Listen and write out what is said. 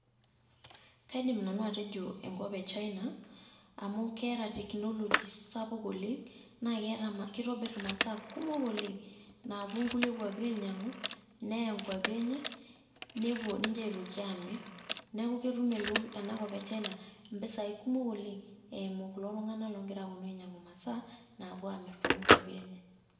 Kaidim nanu atejo enkop e China, amu keeta technology sapuk oleng' na kitobirr imasaa kumok oleng. Naapuo nkulie kwapi ainyang'u, neya nkwapi enye, nepuo ninche aitoki aamir. Neeku ketum enakop e China impisai kumok oleng',eimu kulo tung'anak ogira aponu ainyang'u masaa napuo aamir tokwapi enye.